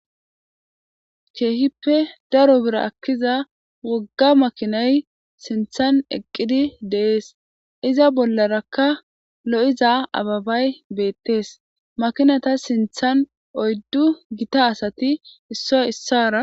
ke'hippe daro biira ekkiza wogga makinay siinththan eqqidi de'ees iza bollarakka lo'iza ababay beettees makinatta siinththan oyddu gitta asati issoy issara